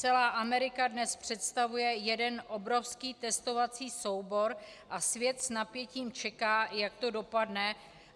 Celá Amerika dnes představuje jeden obrovský testovací soubor a svět s napětím čeká, jak to dopadne.